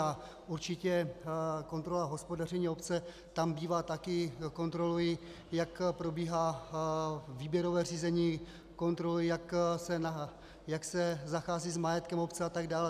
A určitě kontrola hospodaření obce tam bývá také, kontrolují, jak probíhá výběrové řízení, kontrolují, jak se zachází s majetkem obce, a tak dále.